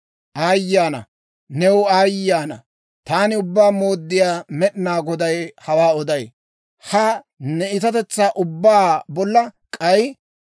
«‹ «Aayye ana! New aayye ana! Taani Ubbaa Mooddiyaa Med'inaa Goday hawaa oday. Ha ne iitatetsaa ubbaa bolla k'ay,